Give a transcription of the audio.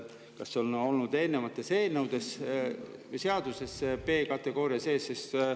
Kas eelnevates seadustes on olnud B-kategooria sees?